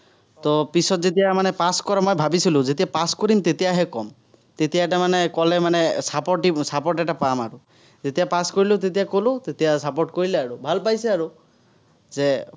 তো পিছত যেতিয়া মানে pass কৰো মই ভাৱিছিলো যেতিয়া pass কৰিম, তেতিয়াহে ক'ম। তেতিয়া তাৰমানে ক'লে মানে support দিব, support এটা পাম আৰু। যেতিয়া pass কৰিলো, তেতিয়া ক'লো, তেতিয়া support কৰিলে আৰু। ভাল পাইছে আৰু, যে,